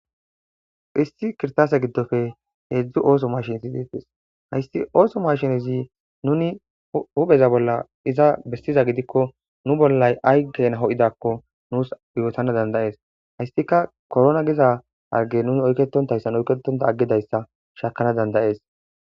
issi kirisase giddoppe hedzdzu oththo mashshinetti hayiss oththo mashshinezzi nuni huphpheza bolla izza bessiza giddikko nuu bollayi ayi kena ho'izakonni nusi yotanas danida'ees.hayissikka korona Giza harigge nusi oyiketotayiss oyiketonta aggidayissa shamana danida'ees.